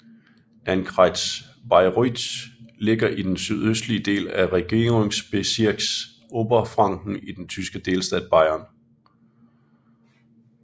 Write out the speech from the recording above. Landkreis Bayreuth ligger i den sydøstlige del af Regierungsbezirks Oberfranken i den tyske delstat Bayern